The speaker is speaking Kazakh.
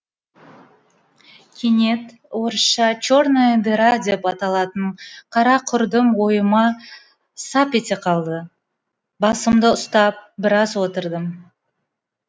кенет орысша черная дыра деп аталатын қара құрдым ойыма сап ете қалды басымды ұстап біраз отырдым